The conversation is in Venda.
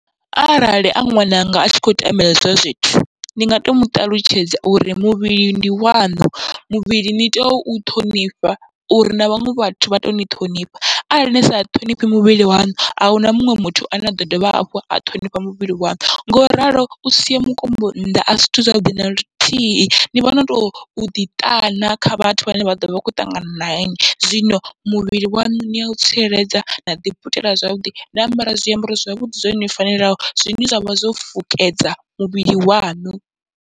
Arali a ṅwananga atshi khou tambela hezwo zwithu, ndi nga to muṱalutshedza uri muvhili ndi waṋu muvhili ni tea u ṱhonifha uri na vhaṅwe vhathu vha toni ṱhonifha, arali ni sa ṱhonifhi muvhili waṋu ahuna muṅwe muthu ane aḓo dovha hafhu a ṱhonifha muvhili waṋu. Ngoralo usia mukombo nnḓa asi zwithu zwavhuḓi naluthihi, ni vhona toḓi ṱana kha vhathu vhane vha ḓovha vha kho ṱangana na inwi, zwino muvhili waṋu ni yau tsireledza naḓi putela zwavhuḓi na ambara zwiambaro zwavhuḓi zwo fanelaho, zwine zwavha zwo fukedza muvhili waṋu.